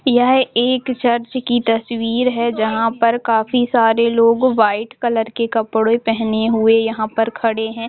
यह एक चर्च की तस्वीर है जहां पर काफी सारे लोग व्हाइट कलर के कपड़े पहने हुए यहां पर खड़े हैं।